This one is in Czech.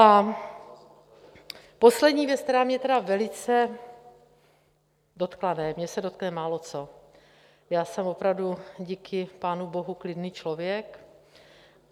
A poslední věc, která se mě velice dotkla... ne, mě se dotkne máloco, já jsem opravdu díky pánu bohu klidný člověk.